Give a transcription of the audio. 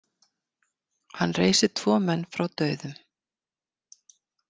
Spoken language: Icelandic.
Hann reisir tvo menn frá dauðum.